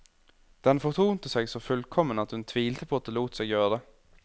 Den fortonte seg så fullkommen at hun tvilte på at det lot seg gjøre.